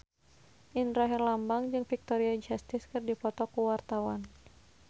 Indra Herlambang jeung Victoria Justice keur dipoto ku wartawan